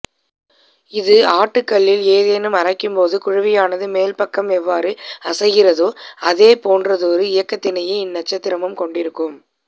இது ஆட்டுக்கல்லில் ஏதேனும் அரைக்கும் போது குழவியினது மேல்பாகம் எவ்வாறு அசைகின்றதோ அதே போன்றதொரு இயக்கத்தினையே இன்நட்சத்திரமும் கொண்டிருக்கும்